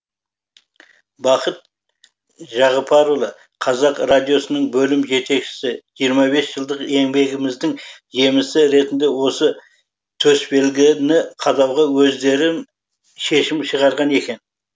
бақыт жағыпарұлы қазақ радиосының бөлім жетекшісі жиырма бес жылдық еңбегіміздің жемісі ретінде осы төсбелгіні қадауға өздерің шешім шығарған екен